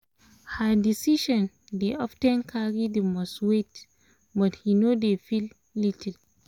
her decision dey of ten carry the most weight but he no dey feel little